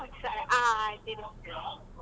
ಹ್ಮ್ ಆಯ್ತ್ ಇಡು.